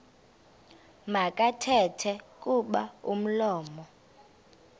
makathethe kuba umlomo